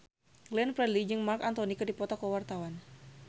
Glenn Fredly jeung Marc Anthony keur dipoto ku wartawan